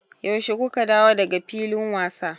Yaushe ku ka dawo da ga filin wasa?